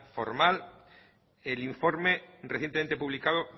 formal el informe recientemente publicado